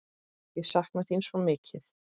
Ég sakna þín svo mikið!